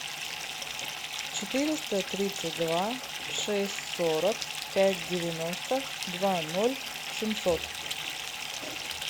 четыреста тридцать два шесть сорок пять девяносто два ноль семьсот